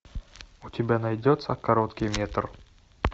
у тебя найдется короткий метр